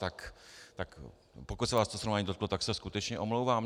Tak pokud se vás to srovnání dotklo, tak se skutečně omlouvám.